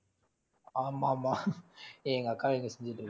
ஆமா ஆமா எங்க அக்கா இங்க செஞ்சுட்டு இருக்கா~